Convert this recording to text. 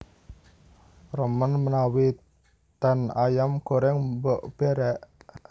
Remen menawi ten Ayam Goreng Mbok Berek?